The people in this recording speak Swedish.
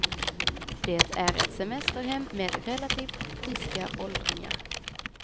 Det är ett semesterhem med relativt friska åldringar.